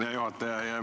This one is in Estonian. Hea juhataja!